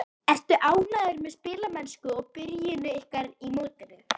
Ertu ánægður með spilamennsku og byrjun ykkar í mótinu?